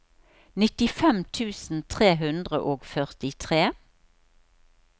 nittifem tusen tre hundre og førtitre